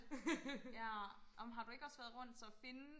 ja ej men har du så ikke også været rundt så og finde